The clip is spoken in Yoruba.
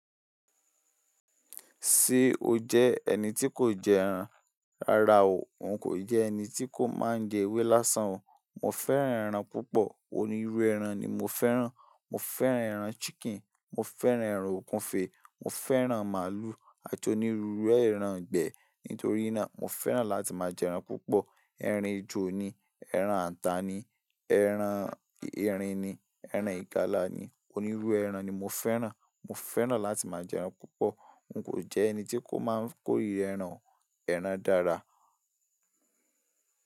Ṣé o jẹ́ ẹni tí kò jẹ ẹran? Rárá o, n kò jẹ ẹni tí kò máa ń jẹ ewé lásán o. Mo fẹ́ran ẹran púpọ̀, onírú ẹran ni mo fẹ́ran. Mo fẹ́ran ẹran chicken, mo fẹ́ran ẹran òkunfe, mo fẹ́ran màálù, a ti onírúrú ẹran gbẹ. Nítorí náà, mo fẹ́ran láti máa jẹ ẹran púpọ̀. Erin ju ni, ẹran ata ni, ẹran erin ni, ẹran ìgalà ni, onírú ẹran ni mo fẹ́ran. Mo fẹ́ran láti máa jẹ ẹran púpọ̀. N kò jẹ ẹni tí kò máa ń kó iru ẹran o, ẹran dára.